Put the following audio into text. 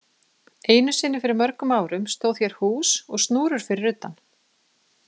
Einu sinni fyrir mörgum árum stóð hér hús og snúrur fyrir utan.